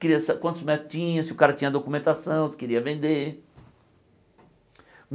queria sa quantos métodos tinha, se o cara tinha documentação, se queria vender.